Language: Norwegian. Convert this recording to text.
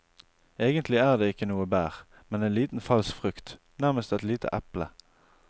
Egentlig er det ikke noe bær, men en liten falsk frukt, nærmest et lite eple.